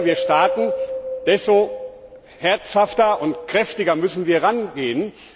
Je später wir starten, desto beherzter und kräftiger müssen wir rangehen.